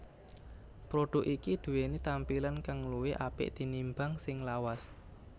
Produk iki duweni tampilan kang luwih apik tinimbang sing lawas